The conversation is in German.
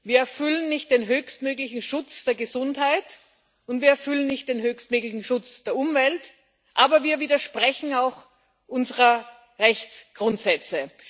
Wir erfüllen nicht den höchstmöglichen Schutz der Gesundheit, und wir erfüllen nicht den höchstmöglichen Schutz der Umwelt, aber wir widersprechen auch unseren Rechtsgrundsätzen.